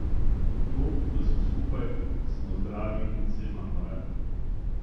To, da smo skupaj, smo zdravi in se imamo radi.